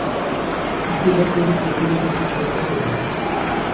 I tillegg blir det tid til litt instruksjon ved siden av.